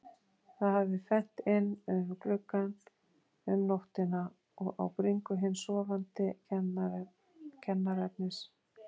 Það hafði fennt inn um gluggann um nóttina og á bringu hins sofandi kennaraefnis.